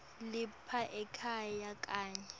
lapha ekhaya kanye